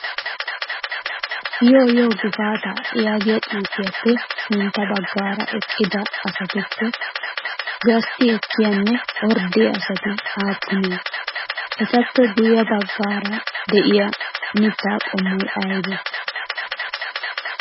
Yoo yoo gifaata yaagiya xuufiyaappe sintta baggaara eqqida asatuppe gastti ekkiyaanne orddiya asati aappunee? Etappe guyye baggaara de'iyaa mitta qommoy aybee?